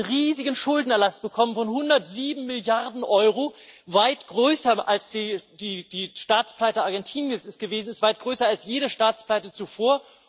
Dann hat Griechenland einen riesigen Schuldenerlass bekommen von 107 Milliarden Euro weit größer, als die Staatspleite Argentiniens es gewesen ist, weit größer als jede Staatspleite zuvor.